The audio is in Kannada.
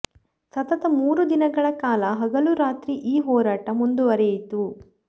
ಸತತ ಮೂರು ದಿನಗಳ ಕಾಲ ಹಗಲೂ ರಾತ್ರಿ ಈ ಹೋರಾಟ ಮುಂದುವರೆಯಿತು